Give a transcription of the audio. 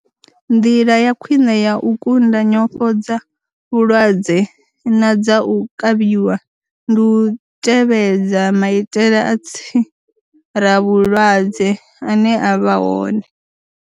Nḓila ya khwiṋe ya u kunda nyofho dza vhulwadze na dza u kavhiwa ndi u tevhedza maitele a tsiravhulwadze ane a vha hone.